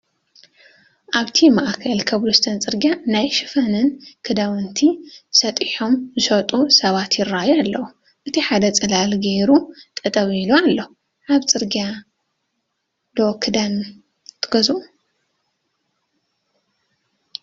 ኣብቲ ማእኸል ኮብልስቶን ፅርግያ ናይ ሽፈንን ክዳውንቲ ሰጢሖም ዝሸጡ ሰባት ይራኣዩ ኣለው፡፡ እቲ ሓደ ፅላል ገይሩ ጠጠው ኢሉ ኣሎ፡፡ ካብ ፅርግያ ዶ ክዳን ትገዝኡ?